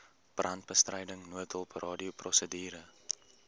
brandbestryding noodhulp radioprosedure